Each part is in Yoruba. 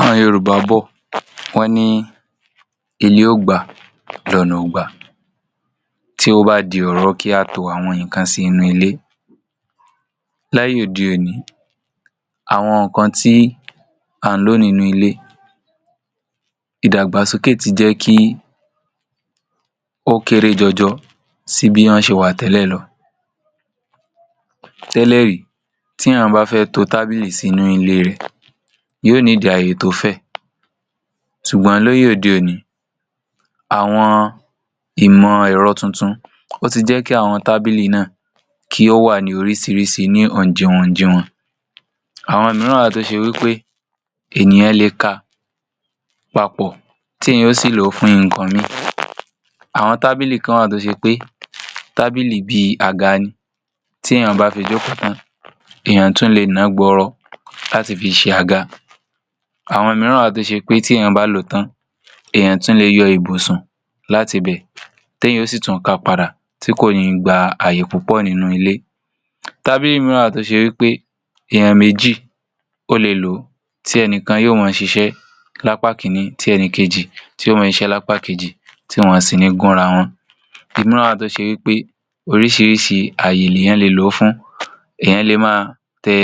Àwoń Yoruba bọ̀, wọ́n ní Ilé ògbà lóna ò gbà. Tí ó bá di ọ̀rọ̀ kí a tó àwọn in kan sí inú ilé. Láyọ̀dé òní, àwọn nkan tí a ń lo nínú ilé. Ìdàgbàsókè ti jẹ́ kí ó kéré jojo sí bí won ṣe wà tẹ́lẹ̀ lọ. Tẹ́lẹ̀rí tí eyan bá fẹ́ tó tábìlì sínú ilé rẹ yóò need Ayé tó fẹ́. Ṣùgbọ́n l'ọ́yọ̀dé òní, àwọn ìmọ̀ ẹ̀rọ tuntun ọ ti jẹ́ kí àwọn tábìlì náà kí ó wà ní oríṣìíríṣìí ní oúnjíwonnjiwon. Àwọn omíran wa tó ṣe wípé ènìyàn lè kà papọ̀ tí ẹ̀yan ò sì lọ fún nkan mìíràn. Àwọn tábìlì kan wa tó ṣe pé tábìlì bí àgà ni. Tí ẹ̀yàn bá fi jókútàn, ènìyàn tún lè ní ńgbọ́ ọ̀rọ̀ láti fi ṣe àgà. Àwọn omírọan wa tó ṣe pé tí ẹ̀yàn bá lọ́tàn, ènìyàn tún lè yọ ìbùsùn látìbẹ̀. Tí eyan o si tun kapáda tí kò ní gba àyépupọ̀ nínú ilé. Tábìlì míiwá tó ṣe wípé ènìyàn méjì ò lè lo tí ènìkàn y'òmọ́ ṣise l'ápá kíní tí ẹ̀nikejì ti yoọmọ se iṣẹ́ l'ápá kejì tí wọ́n sì ní gúnráwon. Omíirán wa tó ṣe wípé oríṣìíríṣìí ayé eyan lè lo fún. Enìyàn lè má tẹ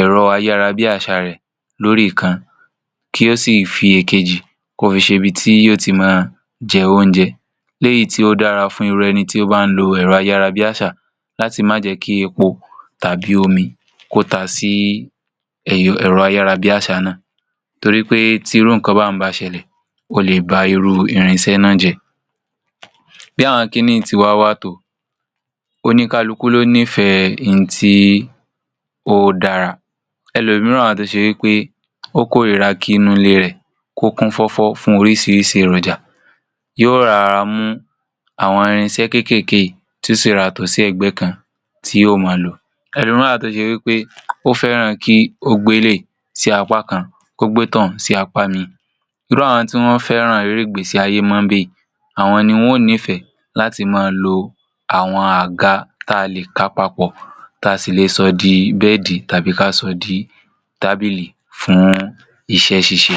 erò ayárabíásà rẹ lórí ìkan kí ó sì fi ẹ̀kejì kọ́ fi ṣi bí ti yóò ti má jẹunjẹ́, léyí tí ó dára fún irú ẹni tí ò bání lo erò ayárabíásà láti má jẹ́ kí ẹ̀pò tàbí omi ko tà sí èrọ ayárabíásà náà torí pé tí irúnkan báyen bá ṣẹlẹ̀, ó lè bà irú irinṣẹ́ náà jẹ. Bí àwọn kínní tiwa wà tó, òníkálùkù loni fẹ́ ní tí ò dára. Ẹ̀lòmíirán wa tó ṣe wípé ọkò rirà kì ínú ilé rẹ kókunfòfò fún oríṣìíríṣìí irọ̀jà yọrá mu àwọn irinṣẹ́ kékeké yi tio ṣi rorá tó sí ẹgbẹ́ kan tí yóò má lọ. Èlomiran wa tó ṣe wípé òfèrán kí ò gbèlẹ̀ sí àpá kan, ògbètàn sí àpá mìí. Irú àwọn tí wọ́n fẹ́ràn rẹ̀rẹ̀gbẹ̀ sí ayémọ́be yi. Àwọn ni wọ́n nífẹ̀ẹ́ láti máa lọ àwọn àgà tá a lè kàpapọ̀ tá a sì lè sọ dí bédì tàbí kásọ̀dí tábìlì fún iṣẹ́ṣíṣe.